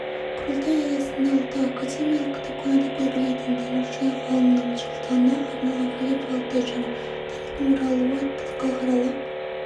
құрылтай аясында ұлттық академиялық кітапханада белгілі дінтанушы-ғалымның жылдығына арналған халифа алтай және тарихтың оралуы атты халықаралық